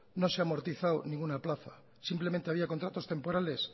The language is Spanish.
no se ha amortizado ninguna plaza simplemente había contratos temporales